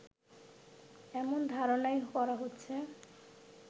এমন ধারণাই করা হচ্ছে